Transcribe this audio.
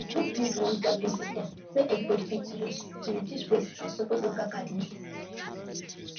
the group build one dustbin system wey everybody fit use to reduce waste and support local gardens